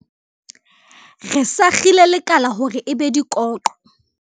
re sakgile lekala hore e be dikoqo